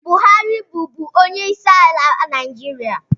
Buhari bụbụ onye isiala naijiria